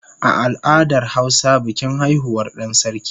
A al'adar hausa bikin haihuwar dan sarki